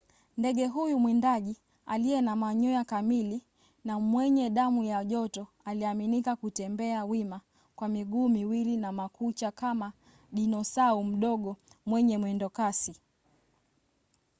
ndege huyu mwindaji aliye na manyoya kamili na mwenye damu ya joto aliaminika kutembea wima kwa miguu miwili na makucha kama dinosau mdogo mwenye mwendokasi